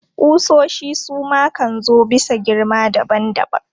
Ƙusoshi su ma kan zo bisa girma daban daban.